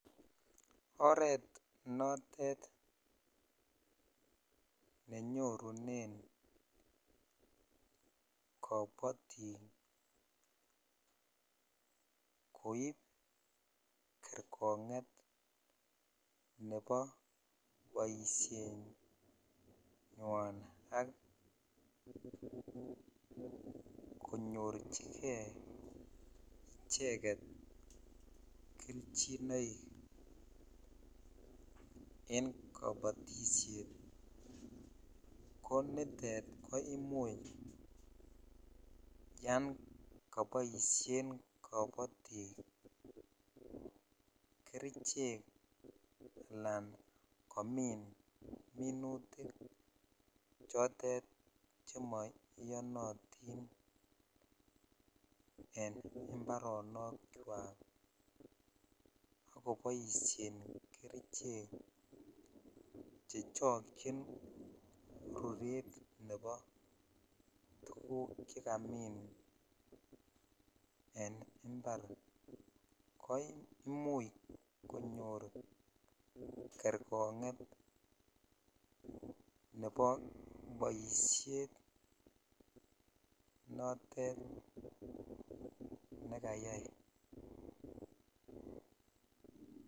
Oret notet nenyorunen kabatik koip kergonget nebo boisienywan ak konyorchige icheget kelchinoik en kabatisiet ko nitet ko imuch yon koboisien kabatik kerichek anan komin minutik chotet che maiyonatin en imbaronokywak akoboisien kerichek che chokyokyin ruret nebotuguk che kamin en imbar koimuch konyor kergonget nebo boisiet notet ne kayai.